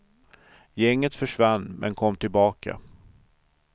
Gänget försvann, men kom tillbaka.